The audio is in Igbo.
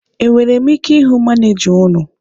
E nwere m ike ịhụ manịja unu?